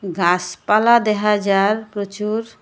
গাসপালা দেখা যার প্রচুর।